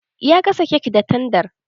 Ya gasa kek da tandar.